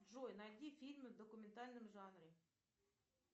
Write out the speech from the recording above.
джой найди фильмы в документальном жанре